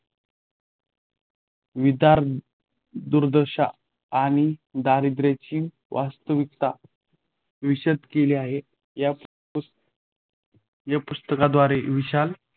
विदारक दुर्दशा आणि दारिद्र्याची वास्तवीक्ताता विशद केली आहे. य़ा पुस या पुस्तकाद्वारे विशाल